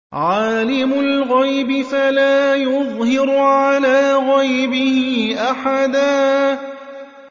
عَالِمُ الْغَيْبِ فَلَا يُظْهِرُ عَلَىٰ غَيْبِهِ أَحَدًا